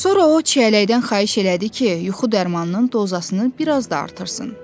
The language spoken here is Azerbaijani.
Sonra o çiyələkdən xahiş elədi ki, yuxu dərmanının dozasını bir az da artırsın.